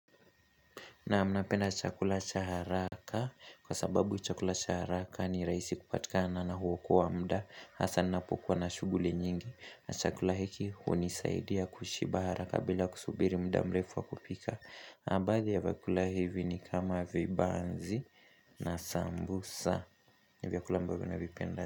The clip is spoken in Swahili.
Naam napenda chakula cha haraka kwa sababu chakula cha haraka ni rahisi kupatikana na huokoa wa mda hasa ninapokuwa na shuguli nyingi. Na chakula hiki hunisaidia kushiba haraka bila kusubiri muda mrefu wa kupika. Baadhi ya vyakula hivi ni kama vibanzi na sambusa. Ni vyakula ambavyo navipenda.